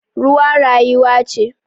Ruwa rayuwa ce